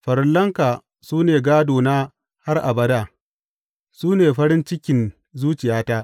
Farillanka su ne gādona har abada; su ne farin cikin zuciyata.